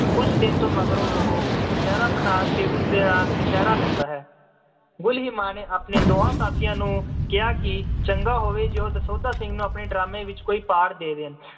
ਉਸ ਦਿਨ ਤੋਂ ਮਗਰੋਂ ਉਹ ਕਛਹਿਰਾ ਪਠਾਨ ਤੇ ਉਸ ਦੇ ਨਾਲ ਕਛਹਿਰਾ ਲੈਂਦਾ ਹੈ। ਗੁਲੀਮਾ ਨੇ ਆਪਣੇ ਦੋਹਾਂ ਸਾਥੀਆਂ ਨੂੰ ਕਿਹਾ ਕਿ ਚੰਗਾ ਹੋਵੇ ਜੇ ਉਹ ਦਸੌਂਧਾ ਸਿੰਘ ਨੂੰ ਆਪਣੇ drama ਵਿੱਚ ਕੋਈ part ਦੇ ਦੇਣ।